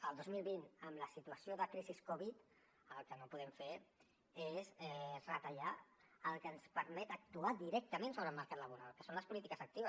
el dos mil vint amb la situació de crisi covid el que no podem fer és retallar el que ens permet actuar directament sobre el mercat laboral que són les polítiques actives